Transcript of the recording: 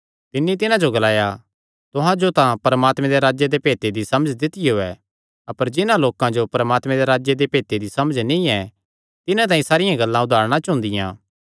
तिन्नी तिन्हां जो ग्लाया तुहां जो तां परमात्मे दे राज्जे दे भेत दी समझ दित्तियो ऐ अपर जिन्हां लोकां जो परमात्मे दे राज्जे दे भेते दी समझ नीं ऐ तिन्हां तांई सारियां गल्लां उदारणा च हुंदियां